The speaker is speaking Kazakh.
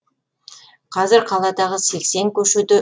қазір қаладағы сексен көшеде